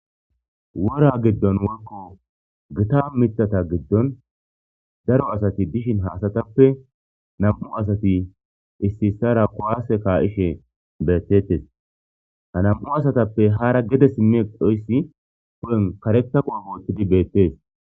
wora giddon woykko gita mithata giddon daro asati dishin haasatappe nam7u asati ississara kowaase ka7ishe beettettes ha nam7u asatappe hara gede simmi qhoyssi po7en kareka qoy goottidi beettees